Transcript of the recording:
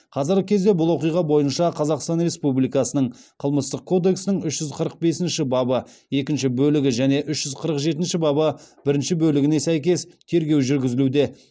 қазіргі кезде бұл оқиға бойынша қазақстан республикасының қылмыстық кодексінің үш жүз қырық бесінші бабы екінші бөлігі және үш жүз қырық жетінші бабы бірінші бөлігіне сәйкес тергеу жүргізілуде